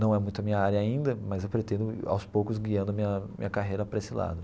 Não é muito a minha área ainda, mas eu pretendo aos poucos, guiando a minha minha carreira para esse lado.